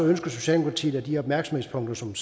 ønsker socialdemokratiet at de opmærksomhedspunkter som